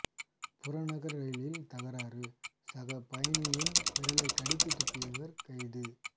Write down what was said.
புறநகர் ரயிலில் தகராறு சக பயணியின் விரலை கடித்து துப்பியவர் கைது